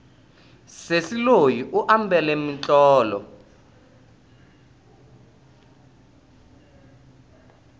sesi loyi u ambale mitlotlo